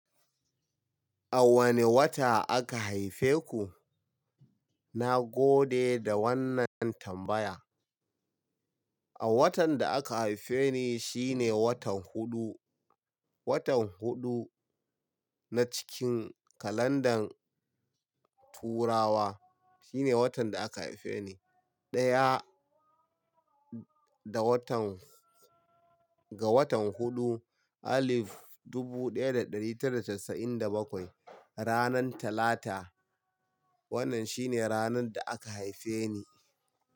A wane wata aka haife ku? Na gode da wannan tambaya. A watan da aka haife ni, shine watan huɗu. Watan huɗu na cikin kalandar Turawa, shine watan da aka haife ni. Ɗaya da watan, ga watan huɗu, alif dubu ɗaya da ɗari tara da casa'in da bakwai, ranan Talata. Wannan shine ranar da aka haife ni.